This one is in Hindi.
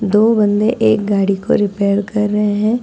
दो बंदे एक गाड़ी को रिपेयर कर रहे हैं।